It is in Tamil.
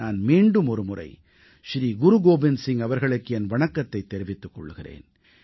நான் மீண்டுமொரு முறை ஸ்ரீ குரு கோபிந்த் சிங் அவர்களுக்கு என் வணக்கத்தைத் தெரிவித்துக் கொள்கிறேன்